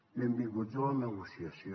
benvinguts a la negociació